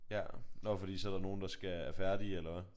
Ja nå fordi så er der nogen der skal er færdige eller hvad?